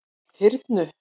Hyrnu